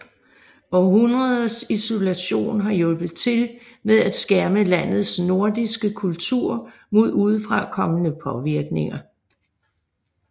Århundreders isolation har hjulpet til med at skærme landets nordiske kultur mod udefrakommende påvirkninger